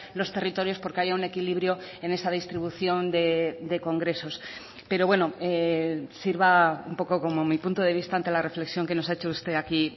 los territorios porque haya un equilibrio en esa distribución de congresos pero bueno sirva un poco como mi punto de vista ante la reflexión que nos ha hecho usted aquí